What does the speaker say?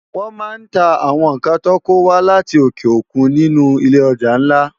Wòn má n tá áwòn nkán tò kówá láti óké ókún ninú ilé òjá nlá